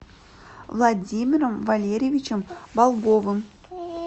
владимиром валерьевичем болговым